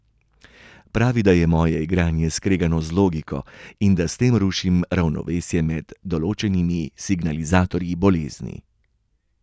Pravi, da je moje igranje skregano z logiko in da s tem rušim ravnovesje med določenimi signalizatorji bolezni.